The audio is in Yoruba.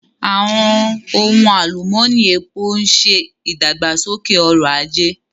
Àwọn ohun alumọni, epo ń ṣe ìdàgbàsókè ọrọ̀ ajé.